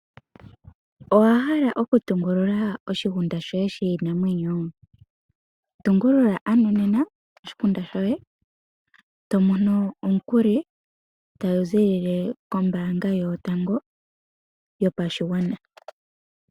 Owa hala oku tungulula oshigunda shoye shiinamwenyo? Tungulula ano nena oshigunda shoye to mono omukuli ta gu ziilile kombaanga yo tango yo pashigwana.